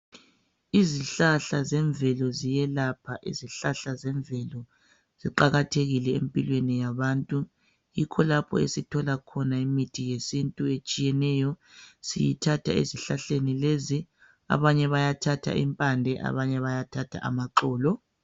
Izihlahla zemvelo ziyelapha izihlahla zemvelo ziqakathekile empilweni yabantu yikho lapho esithola khona imithi yesintu etshiyeneyo siyithatha ezihlahleni lezi abanye bayathatha impande abanye bayathatha amaxolo.